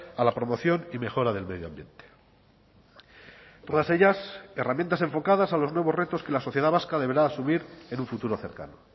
a la promoción y mejora del medio ambiente todas ellas herramientas enfocadas a los nuevos retos que la sociedad vasca deberá asumir en un futuro cercano